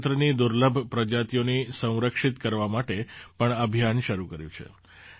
રાજ્ય સરકારે ભોજપત્રની દુર્લભ પ્રજાતિઓને સંરક્ષિત કરવા માટે પણ અભિયાન શરૂ કર્યું છે